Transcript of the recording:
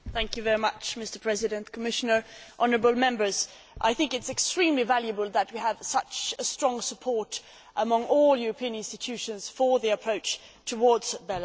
Mr President, Commissioner, honourable Members, I think it is extremely valuable that we have such strong support among all the European institutions for the approach towards Belarus.